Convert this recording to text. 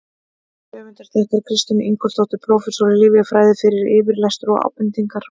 Höfundur þakkar Kristínu Ingólfsdóttur, prófessor í lyfjafræði, fyrir yfirlestur og ábendingar.